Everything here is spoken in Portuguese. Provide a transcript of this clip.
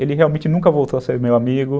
Ele realmente nunca voltou a ser meu amigo.